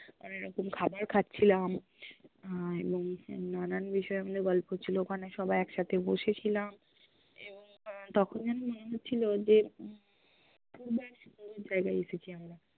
অনেক রকম খাবার খাচ্ছিলাম আহ এব্ং নানান বিষয় আমদের গল্প ছিল, ওখানে সবাই একসাথে বসেছিলাম এবং তখন যেন মনে হচ্ছিল যে হম জায়্গায় এসেছি আমরা